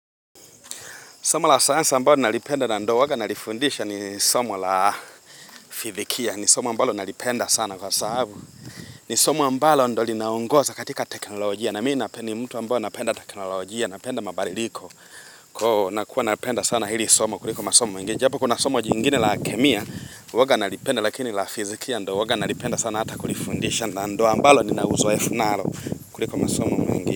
Somo la sayansa ambayo nalipenda na ndio huwaga nalifundisha ni somo la fizikia ni somo ambalo nalipenda sana kwa sababu. Ni somo ambalo ndio linaongoza katika teknolojia na mimi napendi mtu ambayo napenda teknolojia napenda mabadiliko. Kwa huo nakuwa nalipenda sana hili somo kuliko masomo mengine. Japo kuna somo jingine la kemia huwaga nalipenda lakini la fizikia ndio huwaga nalipenda sana ata kulifundisha na ndio ambalo ninauzoefu nalo kuliko masomo mengine.